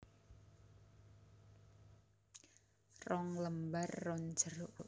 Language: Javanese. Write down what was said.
Rong lembar ron jeruk